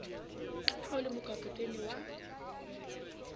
ha o le mokapotene wa